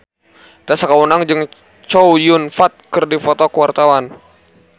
Tessa Kaunang jeung Chow Yun Fat keur dipoto ku wartawan